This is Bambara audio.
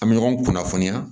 An bɛ ɲɔgɔn kunnafoniya